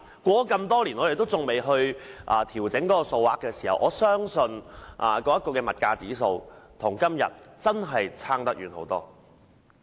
事隔多年也沒有調整有關金額，我相信當時的物價指數與現在相差甚大。